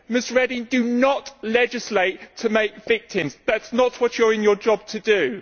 Ms Reding, do not legislate to make victims. That is not what you are in your job to do.